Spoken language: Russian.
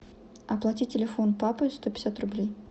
оплати телефон папы сто пятьдесят рублей